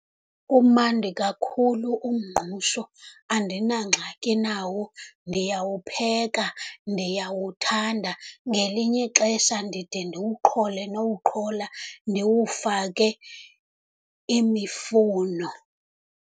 Umandi kakhulu umngqusho, andinangxaki nawo, ndiyawupheka, ndiyawuthanda. Ngelinye ixesha ndide ndiwuqhole nowuqhola, ndiwufake imifuno.